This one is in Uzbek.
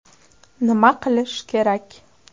“Nima qilish kerak?